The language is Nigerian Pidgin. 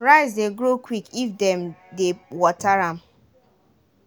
rice dey grow quick if dem dey water am.